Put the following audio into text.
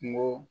Kungo